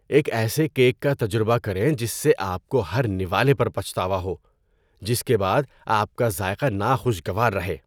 ایک ایسے کیک کا تجربہ کریں جس سے آپ کو ہر نوالے پر پچھتاوا ہو، جس کے بعد آپ کا ذائقہ ناخوشگوار رہے